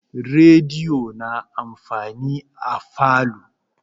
Rediyo na amfani a falo.